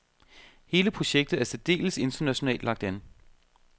Hele projektet er særdeles internationalt lagt an.